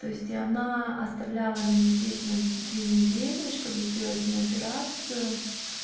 то есть она оставляла меня здесь на две недели чтобы сделать мне операцию